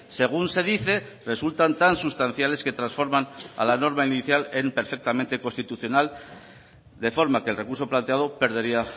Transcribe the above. según se dice resultan tan sustanciales que transforman a la norma inicial en perfectamente constitucional de forma que el recurso planteado perdería